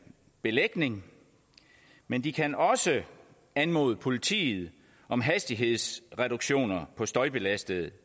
belægning men de kan også anmode politiet om hastighedsreduktioner på støjbelastede